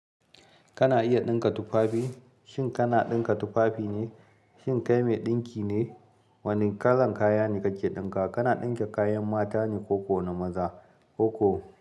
Kana iya ɗinka tufafi? Shin kana ɗinka tufafi ne? Shin kai mai ɗinki ne? Wane kalan kaya kake ɗinka? Kana ɗinka kayan mata ne ko ko na maza, ko ko?